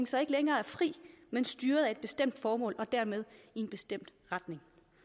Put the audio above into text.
så ikke længere er fri men styret af et bestemt formål og dermed i en bestemt retning